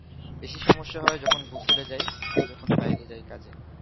বেশি সমস্য হয় যখন গফুলে যায় আর বাইরে যায় কাজে